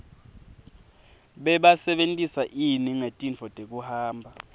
bebasebentisa ini ngetintfo tekuhamba